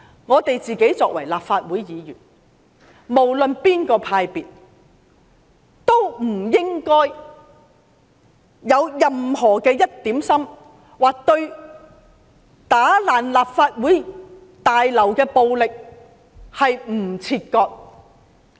我們作為立法會議員，無論屬於哪個派別，內心也不應該有一刻不想與破壞立法會大樓的暴力行徑切割。